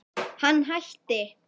Hann hætti.